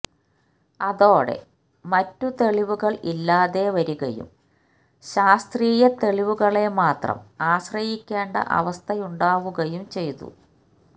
അതോടെ മറ്റ് തെളിവുകള് ഇല്ലാതെ വരികയും ശാസ്ത്രീയതെളിവുകളെ മാത്രം ആശ്രയിക്കേണ്ട അവസ്ഥയുണ്ടാവുകയും ചെയ്തു